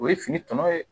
O ye fini tɔnɔ ye